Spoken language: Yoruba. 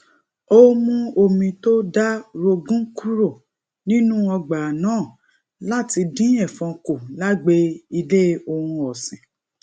ó mú omi to da rogun kúrò nínú ọgbà náà lati din èfọn ku lagbe ile ohun òsìn